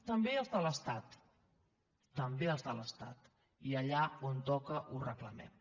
també els de l’estat també els de l’estat i allà on toca ho reclamem